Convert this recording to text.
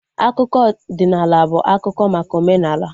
Akụkọ ọdịnala bụ akụkọ maka omenala